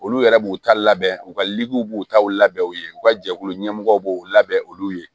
Olu yɛrɛ b'u ta labɛn u ka b'u taw labɛn u ye u ka jɛkulu ɲɛmɔgɔ b'u labɛn olu ye